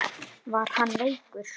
Var hann veikur?